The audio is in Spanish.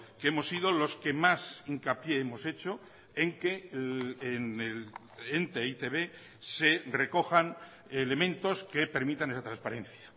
que hemos sido los que más hincapié hemos hecho en que en el ente e i te be se recojan elementos que permitan esa transparencia